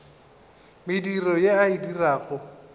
mediro ye a e dirago